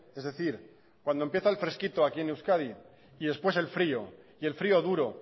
es decir cuando empieza el fresquito aquí en euskadi y después el frío y el frío duro